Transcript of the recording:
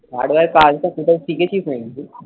Hardware এর কাজটা কোথাও শিখেছিস নাকি তুই,